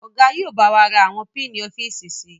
Ọ̀gá yìí ó bá wà ra àwọn piini-ofiíísì síí